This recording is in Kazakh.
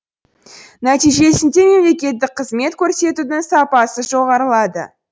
нәтижесінде мемлекеттік қызмет көрсетудің сапасы жоғарылады